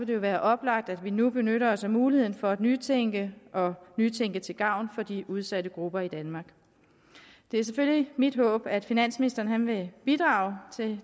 det jo være oplagt at vi nu benytter os af muligheden for at nytænke nytænke til gavn for de udsatte grupper i danmark det er selvfølgelig mit håb at finansministeren vil bidrage til det